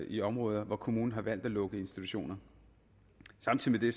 i områder hvor kommunen har valg at lukke institutioner samtidig ved